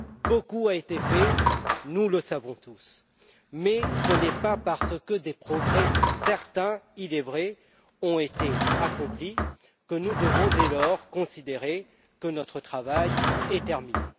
Beaucoup a été fait, nous le savons tous, mais ce n'est pas parce que des progrès certains il est vrai ont été accomplis que nous devons dès lors considérer que notre travail est terminé.